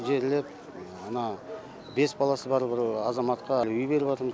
жерлеп мына бес баласы бар бір азаматқа үй беріп атырмыз